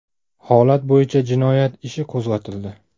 Holat bo‘yicha jinoyat ishi qo‘zg‘atildi.